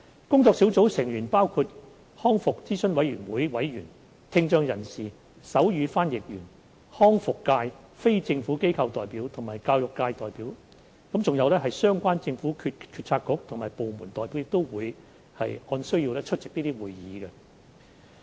工作小組成員包括康復諮詢委員會委員、聽障人士、手語翻譯員、康復界非政府機構代表及教育界代表，而相關的政府政策局及部門代表亦會按需要出席會議。